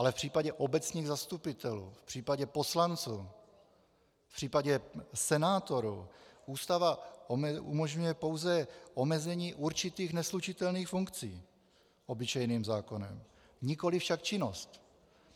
Ale v případě obecních zastupitelů, v případě poslanců, v případě senátorů Ústava umožňuje pouze omezení určitých neslučitelných funkcí obyčejným zákonem, nikoli však činnost.